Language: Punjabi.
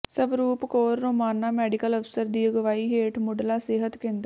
ਸਵਰੂਪ ਕੌਰ ਰੋਮਾਣਾ ਮੈਡੀਕਲ ਅਫ਼ਸਰ ਦੀ ਅਗਵਾਈ ਹੇਠ ਮੁਢਲਾ ਸਿਹਤ ਕੇਂਦਰ